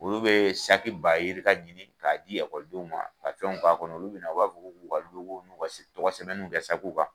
Olu be bayirikaw ɲini ka di ekɔlidenw ma, ka fɛw ka kɔnɔ, olu bina, u b'a fɔ, ko ka u ka nunnu tɔgɔ sɛbɛnnu kɛ kan.